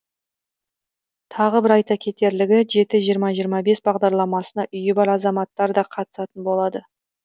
тағы бір айта кетерлігі жеті жиырма жиырма бес бағдарламасына үйі бар азаматтар да қатысатын болады